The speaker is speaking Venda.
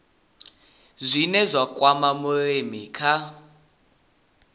zwine zwa kwama vhulimi kha